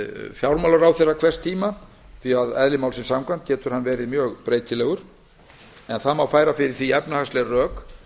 fjármálaráðherra hvers tíma því að eðli málsins samkvæmt getur hann verið mjög breytilegur en það má færa fyrir því efnahagsleg rök